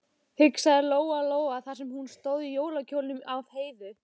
hugsaði Lóa Lóa þar sem hún stóð í jólakjólnum af Heiðu.